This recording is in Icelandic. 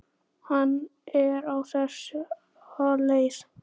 Hann er á þessa leið